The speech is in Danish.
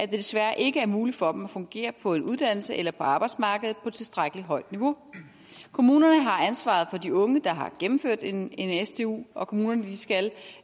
desværre ikke er muligt for dem at fungere på en uddannelse eller på arbejdsmarkedet på tilstrækkelig højt niveau kommunerne har ansvaret for de unge der har gennemført en en stu og kommunerne skal